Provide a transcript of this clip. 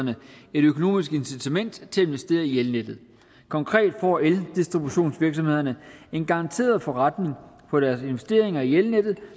økonomisk incitament til at investere i elnettet konkret får eldistributionsvirksomhederne en garanteret forretning for deres investeringer i elnettet